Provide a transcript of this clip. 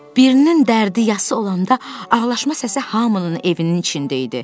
Birinin dərdi yası olanda ağlaşma səsi hamının evinin içində idi.